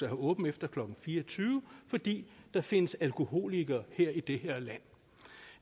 have åbent efter klokken fire og tyve fordi der findes alkoholikere i det her land